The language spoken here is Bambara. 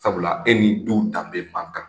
Sabula e ni denw danbe ma kan.